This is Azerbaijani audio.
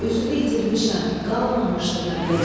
Özümü itirmişəm, qalmamışdı məndə can.